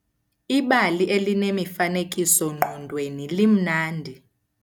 Ibali elinemifanekiso-ngqondweni limnandi.